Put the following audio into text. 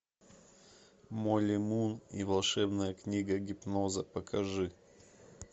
молли мун и волшебная книга гипноза покажи